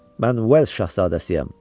Mən Welş şahzadəsiyəm.